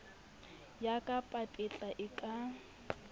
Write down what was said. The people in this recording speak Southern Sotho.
ya ka papetla e ka